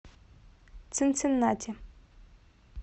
цинциннати